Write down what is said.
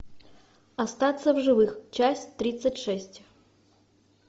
остаться в живых часть тридцать шесть